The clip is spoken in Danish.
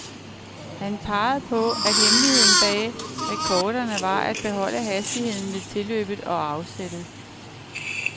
Han pegede på, at hemmeligheden bag rekorderne var at beholde hastigheden ved tilløbet og afsættet.